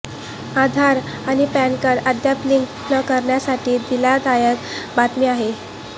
आधार आणि पॅनकार्ड अद्याप लिंक न करणाऱ्यांसाठी दिलासादायक बातमी आहे